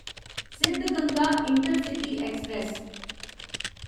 Siddaganga intercity express